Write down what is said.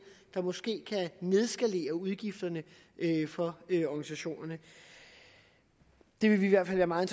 der måske kan nedskalere udgifterne for organisationerne det vil vi i hvert fald være meget